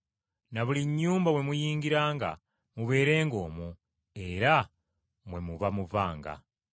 Na buli nnyumba mwe muyingiranga, mubeerenga omwo, era mwe muba muvanga.